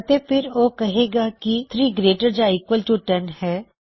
ਅਤੇ ਫਿਰ ਉਹ ਕਹੇਗਾ ਕੀ 3 ਗਰੇਟਰ ਯਾ ਈਕਵਲ ਟੂ 10 ਹੈ